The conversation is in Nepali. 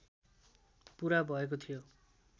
पुरा भएको थियो